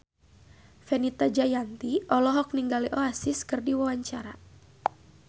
Fenita Jayanti olohok ningali Oasis keur diwawancara